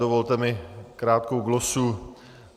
Dovolte mi krátkou glosu.